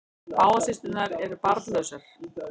Báðar systurnar eru barnlausar